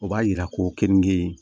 O b'a yira ko keninkee